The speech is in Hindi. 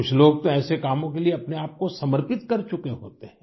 कुछ लोग तो ऐसे कामों के लिए अपने आप को समर्पित कर चुके होते हैं